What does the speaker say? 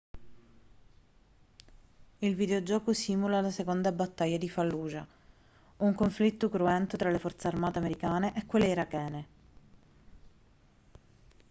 il videogioco simula la seconda battaglia di fallujah un conflitto cruento tra le forze armate americane e quelle irachene